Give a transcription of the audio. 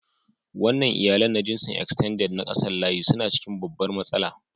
Wannan iyalannna jinsin "Extended " na kasan layi suna cikin babbar matsala.